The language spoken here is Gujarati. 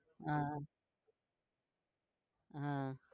હા હા